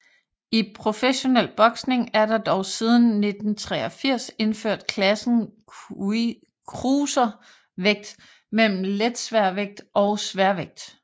I professionel boksning er der dog siden 1983 indført klassen cruiservægt mellem letsværvægt og sværvægt